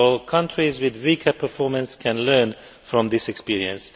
Countries with weaker performances can learn from these experiences.